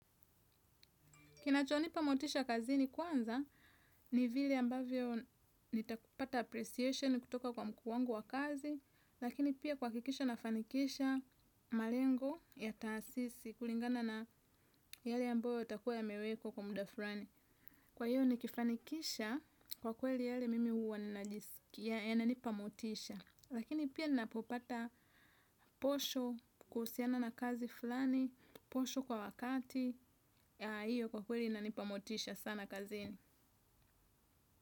Kinacho nipa motisha kazini kwanza, ni vile ambavyo nitakupata appreciation kutoka kwa mkuu wangu wa kazi, lakini pia kuhakikisha nafanikisha malengo ya taasisi kulingana na yale ambayo yatakua yame wekwa kwa muda fulani. Kwa hiyo nikifanikisha kwa kweli yale mimi uwa ninajiskia yananipa motisha. Lakini pia ninapopata posho kuhusiana na kazi fulani, posho kwa wakati, hiyo kwa kweli nanipa motisha sana kazin.